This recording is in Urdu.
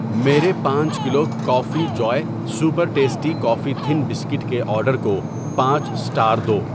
میرے پانچ کلو کافی جوئے super tasty coffee thin biscuit کے آرڈر کو پانچ سٹار دو۔